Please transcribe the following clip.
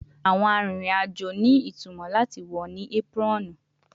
Awọn arinrin-ajo ni itumọ lati wọ ni apron